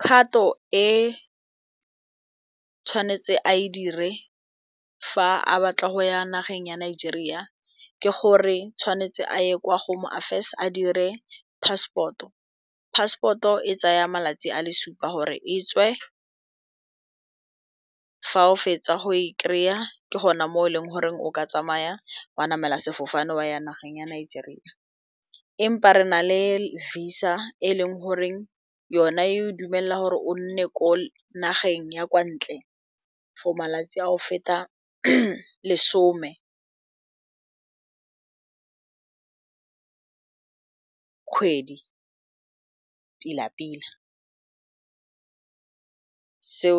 Kgato e tshwanetse a e dire fa a batla go ya nageng ya Nigeria ke gore tshwanetse a ye kwa go home affairs a dire passport, passport oe tsaya malatsi a le supa gore e tswe fa o fetsa go e kry-a ke gone mo e leng gore o ka tsamaya wa namela sefofane wa ya nageng ya Nigeria empa re na le visa e leng goreng yona e dumela gore o nne ko nageng ya kwa ntle for malatsi a go feta lesome kgwedi pila pila so